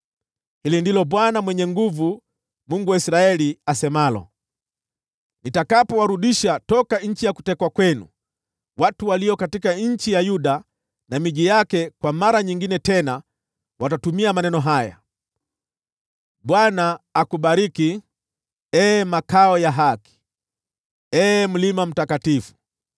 Hili ndilo Bwana Mwenye Nguvu Zote, Mungu wa Israeli, asemalo, “Nitakapowarudisha toka nchi ya kutekwa kwenu, watu walio katika nchi ya Yuda na miji yake kwa mara nyingine tena watatumia maneno haya: ‘ Bwana akubariki, ee makao ya haki, ee mlima mtakatifu.’